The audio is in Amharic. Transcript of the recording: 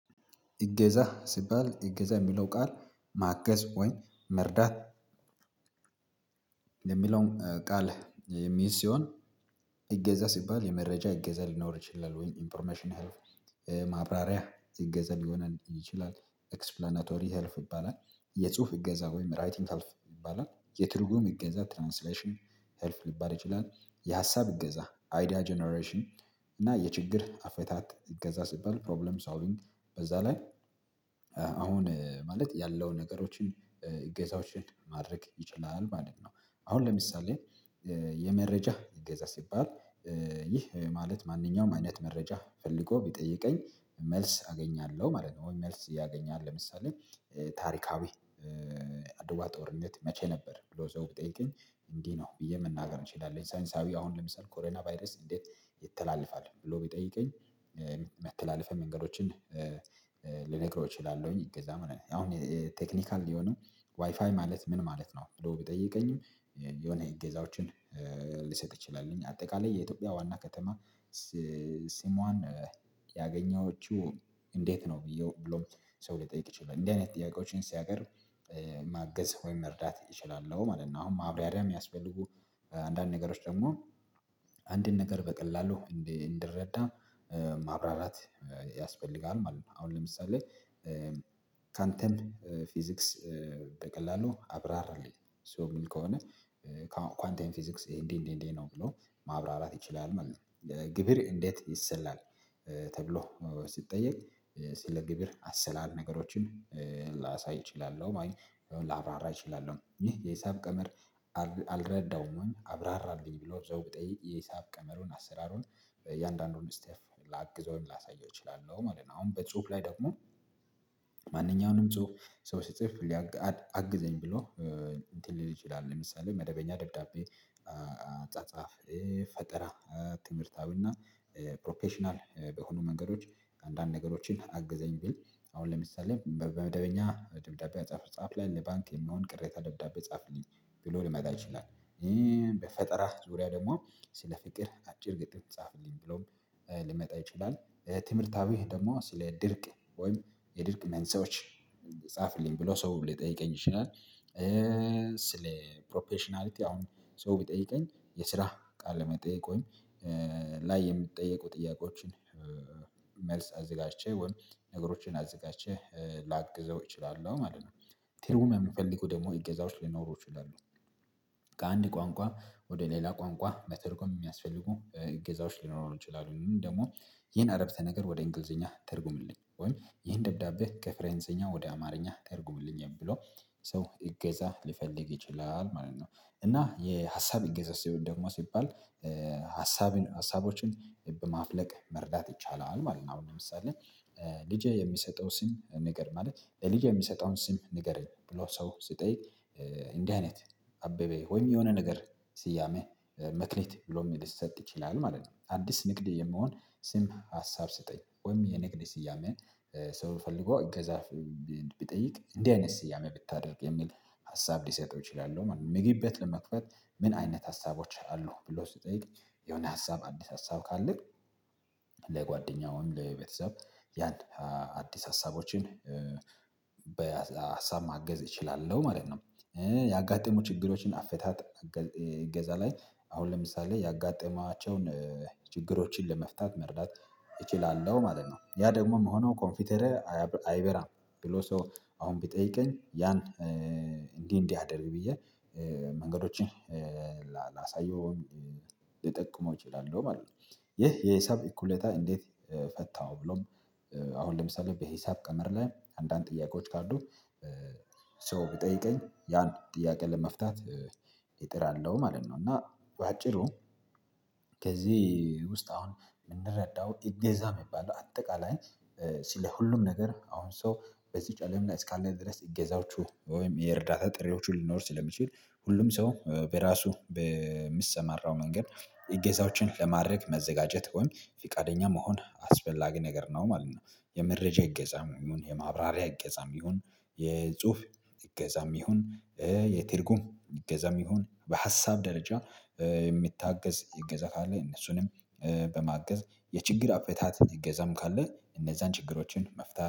እገዛ ሲባል እገዛ የሚለው ቃል ማገዝ ወይ መርዳት። ቃል የሚይዝ ሲሆን። እገዛ ሲባል የመረጃ እገዛ ሊኖር ይችላል ወይም ኢንፎርሜሽን ሄልፍ። ማብራሪያ እገዛ ሊሆን ይችላል። ኤክስፕላናቶሪ ሄልፕ ይባላል። የጽሁፍ እገዛ ወይም ራይቲንግ ሄልፕ ይባላል። የትርጉም እገዛ ትራንስሌሽን ሄልፕ ሊባል ይችላል። የሀሳብ እገዛ አይዲያ ጀነሬሽን እና የችግር አፈታት እገዛ ሲባል ፕሮብለም ሶልቪንግ በዛ ላይ። አሁን ማለት ያለውን ነገሮችን ጌሳውሽን ማድረግ ይችላል ማለት ነው። አሁን ለምሳሌ የመረጃ እገዛ ሲባል ይህ ማለት ማንኛውም አይነት መረጃ ፈልጎ ቢጠይቀኝ መልስ አገኛለሁ ማለት ነው። ወይ መልስ ያገኛል ለምሳሌ ታሪካዊ አድዋ ጦርነት መቼ ነበር? ብሎ ሰው ቢጠይቀኝ እንዲህ ነው ብዬ መናገር እንችላለን። ሳይንሳዊ አሁን ለምሳሌ ኮረና ቫይረስ እንዴት ይተላለፋል? ብሎ ቢጠይቀኝ መተላለፊያ መንገዶችን ልነግረው እችላለሁኝ። እገዛም አሁን ቴክኒካል የሆነው ዋይፋይ ማለት ምን ማለት ነው? ብሎ ቢጠይቀኝም የሆነ እገዛዎችን ልሰጥ እችላሉኝ። አጠቃላይ የኢትዮጵያ ዋና ከተማ ስሰሟን ያገኘዎችው እንዴት ነው ብዬው ብሎ ሰው ሊጠይቅ ይችላል። እንዲህ አይነት ጥያቄዎችን ሲያቀርብ ማገዝ ወይም መርዳት እችላለሁ ማለት ነው። አሁን ማብራሪያ የሚያስፈልጉ አንዳንድ ነገሮች ደግሞ አንድን ነገር በቀላሉ እንድ እንድረዳ ማብራራት ያስፈልጋል ማለት ነው። አሁን ለምሳሌ ካንተም ፊዚክስ በቀላሉ አብራራለኝ ሰው የሚል ከሆነ። ኳንተም ፊዚክስ እንዲ እንዲ እንዲ ነው ብሎ ማብራራት ይችላል ማለት ነው። ግብር እንዴት ይሰላል? ተብሎ ሲጠየቅ ስለ ግብር አሰላል ነገሮችን ላሳይ እችላለሁ ማይ ላብራራ እችላለሁ። ይሄ የሂሳብ ቀመር አል አልረዳውም አብራራልኝ ብሎ ሰው ቢጠይቅ የሂሳብ ቀመሩን አሠራሩን በእያንዳንዱን ስቴፕ ላግዘውም ወይም ላሳየው እችላለሁ ማለት ነው። አሁን በጽሁፍ ላይ ደግሞ ጽሁፍ ሰው ሲጽፍ ሊያግ አድ አግዘኝ ብሎ እንትን ሊል ይችላል። ለምሳሌ መደበኛ ደብዳቤ አ አጻጻፍ ፈጠራ ትምህርታዊና ፕሮፌሽናል በሆኑ መንገዶች አንዳንድ ነገሮችን አግዘኝ ቢል። አሁን ለምሳሌ በመደበኛ ደብዳቤ አጻጻፍ ጻፍ ላይ ለባንክ የሚሆን ቅሬታ ደብዳቤ ጻፍልኝ ብሎ ሊመጣ ይችላል። ይህ በፈጠራ ዙሪያ ደግሞ ስለ ፍቅር አጭር ግጥም ጻፍልኝ ብሎም ሊመጣ ይችላል። ትምህርታዊ ደግሞ ስለ ድርቅ ወይም የድርቅ መንሳኤዎች ጻፍልኝ ብሎ ሰው ሊጠይቀኝ ይችላል። ስለ ፕሮፌሽናሊቲ አሁን ሰው ቢጠይቀኝ የስራ ቃል መጠየቅ ወይም ላይ የሚጠይቁ ጥያቄዎችን መልስ አዘጋጅቼ ወይም ነገሮችን አዘጋጀቼ ላግዘው እችላለሁ ማለት ነው። ትርጉም የሚፈልገው ደግሞ እገዛዎች ሊኖሩ ይችላሉ። ከአንድ ቋንቋ ወደ ሌላ ቋንቋ መተርጎም የሚያስፈልጉ እገዛዎች ሊኖሩ ይችላሉ። ይሄን አረፍተ ነገር ወደ እንግሊዝኛ ተርጉምልኝ ወይም ይሄን ደብዳቤ ከፈንሰይኛ ወደ አማርኛ ተርጉምልኝ ብሎ ሰው እገዛ ሊፈልግ ይችላል ማለት ነው። እና የሀሳብ እገዛ ስሆን ደግሞ ሲባል ሀሳብን ሀሳቦችን በማፍለቅ መርዳት ይቻላል ማለት ነው። አሁን ለምሳሌ ልጄ የሚሰጠው ስም ንገር ማለት ልጄ የሚሰጠውን ስም ንገረኝ ብሎ ሰው ሲጠይቅ። እንዲህ አይነት አበበ ወይም የሆነ ነገር ስያሜ መክሊት ብሎም ሊሰጥ ይችላል ማለት ነው። አዲስ ንግድ የሚሆን ስም ሀሳብ ስጠኝ ወይም የንግድ ስያሜ ሰው ፈልጎ እገዛ ቢጠይቅ እንዲህ አይነት ስያሜ ብታደርግ የሚል ሀሳብ ልሰጠው እችላለው ማለት ነው። ምግብ ቤት ለመክፈት ምን አይነት ሀሳቦች አሉህ? ብሎ ሲጠይቀኝ የሆነ ሀሳብ አዲስ ሀሳብ ካለህ ለጓደኛው ወይም ለቤተሰብ ያን አዲስ ሀሳቦችን በሀሳብ ማገዝ እችላለሁ ማለት ነው። ያጋጠሙ ችግሮችን አፈታት እ እገዛ ላይ አሁን ለምሳሌ ያጋጠማቸውን ችግሮችን ለመፍታት መርዳት እችላለሁ ማለት ነው። ያ ደግሞ የሚሆነው ኮንፒውተሬ አየበ አይበራም ብሎ ሰው አሁን ቢጠይቀኝ ያን እንዲህ እንዲህ አደርግ ብዬ መንገዶችን ላሳየው ልጠቁመው እችላለሁ ማለት ነው። ይህ የሂሳብ እኩሌታ እንዴት ፈታኸው? ብሎም አሁን ለምሳሌ በሂሳብ ቀመር ላይ አንዳንድ ጥያቄዎች ካሉት ሰው ቢጠይቀኝ ያን ጥያቄ ለመፍታት እጥራለሁ ማለት ነው። እና በአጭሩ ከዚህ ውስጥ አሁን የምንረዳው እገዛ የሚባለው አጠቃላይ። ስለ ለሁሉም ነገር አሁን ሰው በዚች አለም እስካለ ድረስ እገዛዎቹ ወይም የእርዳታ ጥሪዎቹ ሊኖር ስለሚችል ሁሉም ሰው በራሱ በሚሰማራው መንገድ እገዛዎችን ለማድረግ መዘጋጀት ወይም ፊቃደኛ መሆን አስፈላጊ ነገር ነው ማለት ነው። የመረጃ እገዛም ይሁን የማብራሪያ እገዛም ይሁን የጽሁፍ እገዛም ይሁን የትርጉም እገዛም ይሁን በሀሳብ ደረጃ የሚታገዝ እገዛ ካለ እነሱንም በማገዝ የችግር አፈታት እገዛም ካለ እነዛን ችግሮችን መፍታት